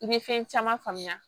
I bɛ fɛn caman faamuya